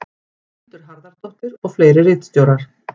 Hildur Harðardóttir og fleiri ritstjórar.